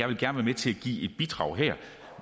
vil være med til at give et bidrag her